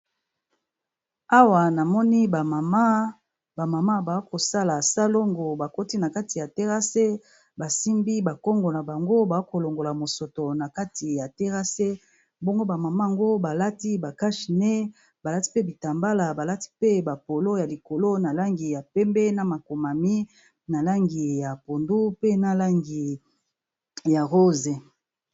Awa namoni ba mama, ba mama ba kosala salongo ba koti na kati ya terrasse basimbi ba Kongo na bango ba ko longola mosoto na kati ya terrasse. Bongo ba mama ango balati ba cache nez, balati pe bitambala, balati pe ba polo ya likolo na langi ya pembe. Na makomami na langi ya pondu, pe na langi ya rose.